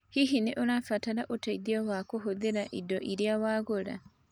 Hihi nĩ ũrabatara ũteithio wa kũhũthĩra indo iria wagũra?